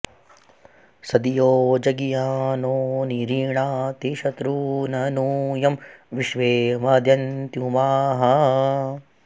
स॒द्यो ज॑ज्ञा॒नो नि रि॑णाति॒ शत्रू॒ननु॒ यं विश्वे॒ मद॒न्त्यूमाः॑